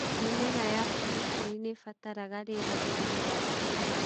Mĩmera ya biribiri nĩ ĩbataraga rĩera ria riua o kĩmera.